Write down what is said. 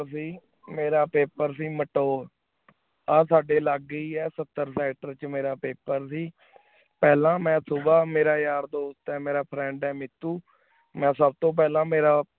mayor ਸੇ ਮੇਯਰ paper ਸੇ ਮਾਤੋਅਰ ਆ ਸਾਡੀ ਲਾਗੇ ਏਈ ਆ ਸਤ੍ਟਰ writer ਚ ਮੇਰਾ paper ਸੇ ਪਹਲਾ ਮੈਂ ਸੁਭਾ ਮੇਰਾ ਯਾਰ ਦੋਸਤ ਏ ਮੇਰਾ friend ਆਯ ਮੀਤੁ ਮੈਂ ਸਬ ਤੋ ਪਹਲਾ ਮੇਰਾ